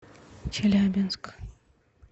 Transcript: челябинск